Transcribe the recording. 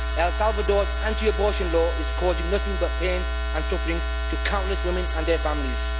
El Salvador's anti abortion law is causing nothing but pain and suffering to countless women and their families.